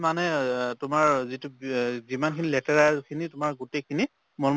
মানে তোমাৰ যিটো বিয়াই যিমান খিনি লেতেৰা খিনি তোমাৰ গোটেই খিনি মল